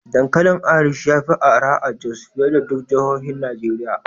Dankalin Irish ya fi arha a Jos fiye da duk jihohin Najeriya.